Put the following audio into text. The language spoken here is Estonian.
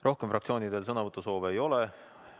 Rohkem fraktsioonidel sõnavõtusoove ei ole.